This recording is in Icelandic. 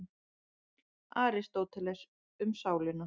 Aristóteles, Um sálina.